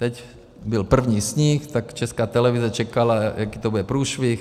Teď byl první sníh, tak Česká televize čekala, jaký to bude průšvih.